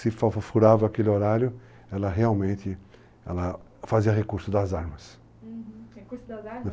Se furava aquele horário, ela realmente, ela fazia recurso das armas. Uhum, recursos das armas?